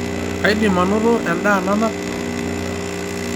kaidim anoto endaa nanap